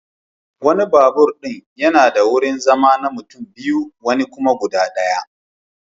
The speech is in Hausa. Wani babur din yana da wurin zama na mutum biyu wani kuma guda daya.